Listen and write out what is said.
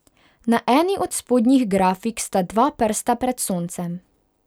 Na eni od spodnjih grafik sta dva prsta pred soncem.